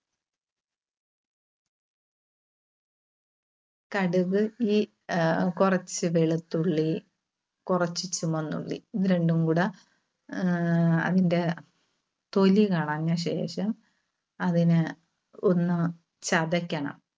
കടുക് ഈ ആഹ് കുറച്ച് വെളുത്തുള്ളി കുറച്ച് ചുമന്നുള്ളി ഇത് രണ്ടുംകൂടെ ആഹ് അതിന്റ തൊലി കളഞ്ഞ ശേഷം അതിനെ ഒന്ന് ചതക്കണം.